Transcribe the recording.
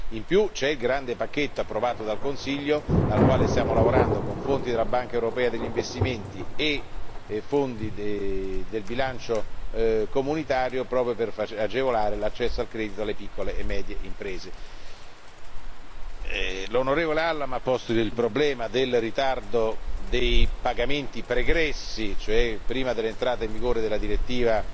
Inoltre, c'è il grande pacchetto approvato dal Consiglio, al quale stiamo lavorando con fondi della Banca europea per gli investimenti e fondi del bilancio comunitario proprio per agevolare l'accesso al credito alle piccole e medie imprese. L'onorevole Allam ha posto il problema del ritardo dei pagamenti pregressi, cioè antecedenti all'entrata in vigore della direttiva